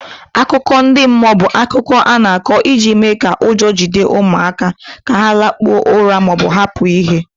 Akụkọ ndị mmụọ bụ akụkọ a na-akọ iji mee ka ụjọ jide ụmụaka ka ha lakpuo ụra ma ọ bụ hapụ ihe.